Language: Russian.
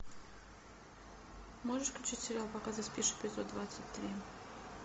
можешь включить сериал пока ты спишь эпизод двадцать три